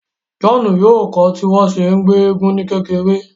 John yoo kọ tí wọn ṣe ngbé èègún ni kékeré